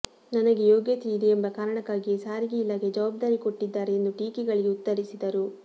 ನನಗೆ ಯೋಗ್ಯತೆ ಇದೆ ಎಂಬ ಕಾರಣಕ್ಕಾಗಿಯೇ ಸಾರಿಗೆ ಇಲಾಖೆ ಜವಾಬ್ದಾರಿ ಕೊಟ್ಟಿದ್ದಾರೆ ಎಂದು ಟೀಕೆಗಳಿಗೆ ಉತ್ತರಿಸಿದರು